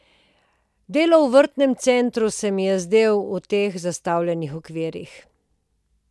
Delo v vrtnem centru se mi je zdelo v teh zastavljenih okvirih.